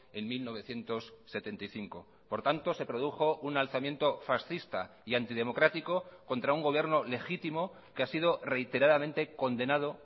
en mil novecientos setenta y cinco por tanto se produjo un alzamiento fascista y antidemocrático contra un gobierno legítimo que ha sido reiteradamente condenado